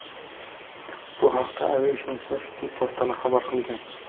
Bu haqda Aviation Safety portali xabar qilgan .